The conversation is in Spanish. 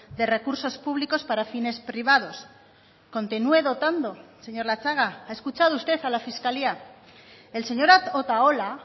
de recursos públicos para fines privados continúe dotando señor latxaga ha escuchado usted a la fiscalía el señor otaola